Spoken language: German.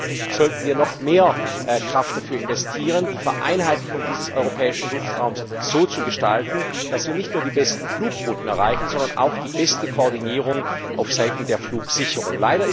Deswegen sollten wir noch mehr Kraft darauf investieren, die Vereinheitlichung dieses europäischen Luftraums so zu gestalten, dass wir nicht nur die besten Flugrouten erreichen, sondern auch die beste Koordinierung auf Seiten der Flugsicherung.